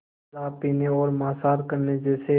शराब पीने और मांसाहार करने जैसे